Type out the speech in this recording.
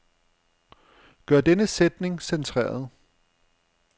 Gør denne sætning centreret.